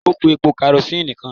Ó kú epo karosíìnì kan.